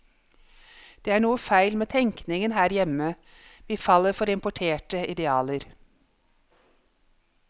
Det er noe feil med tenkningen her hjemme, vi faller for importerte idealer.